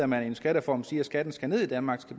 med en skattereform siger at skatten skal ned i danmark